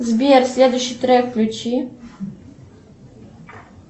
сбер следующий трек включи